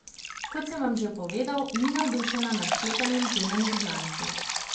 Kot sem vam že povedal, ni navdušena nad sklepanjem zunanjih znanstev.